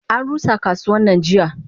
Anrusa kasuwannan jiya.